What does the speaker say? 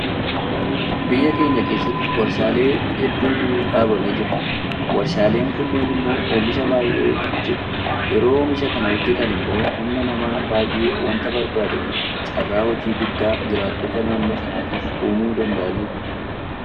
Biyya keenya keessatti warshaalee hedduutu dhaabamee jira. Warshaaleen kunneen immoo oomisha baay'ee hojjetu. Yeroo oomisha kana hojjetan immoo humna namaa baay'ee waanta barbaadaniif carraa hojii guddaa jiraattota naannoo sanaatiif uumuu danda'aniiru.